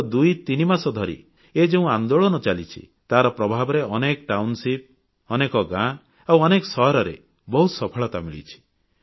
ଗତ ଦୁଇ ତିନି ମାସ ଧରି ଏ ଯେଉଁ ଆନ୍ଦୋଳନ ଚାଲିଛି ତାର ପ୍ରଭାବରେ ଅନେକ ଟାଉନ ଅନେକ ଗାଁ ଆଉ ଅନେକ ସହରରେ ବହୁତ ସଫଳତା ମିଳିଛି